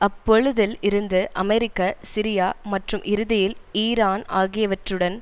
அப்பொழுதில் இருந்து அமெரிக்க சிரியா மற்றும் இறுதியில் ஈரான் ஆகியவற்றுடன்